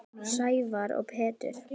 Sævar og Pétur.